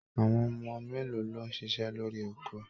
Àwọn ọmọ mélòó ló ṣiṣẹ́ lórí oko?